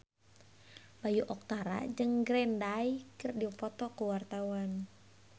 Bayu Octara jeung Green Day keur dipoto ku wartawan